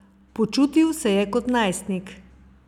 Počutil se je kot najstnik.